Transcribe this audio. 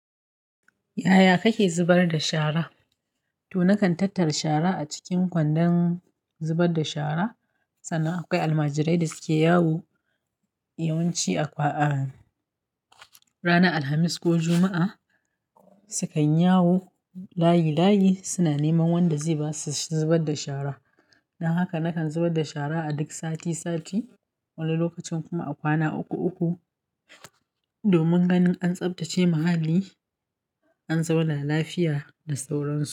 Yaya kake zubar da shara? To na kan tattara shara a cikin kwandon zubar da shara. Sannan akwai almajirai da suke yawo yawanci a kwana ranar Alhamis ko Juma'a. Su kan yinyawo layi layi suna neman wanda zai ba su shiyar da shara. Don haka na kan zubar da shara a duk sati sati wani lokacin kuma a kwana uku uku domin ganin an tsabtace muhalli, an zauna lafiya da sauran su.